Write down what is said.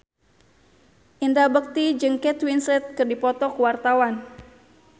Indra Bekti jeung Kate Winslet keur dipoto ku wartawan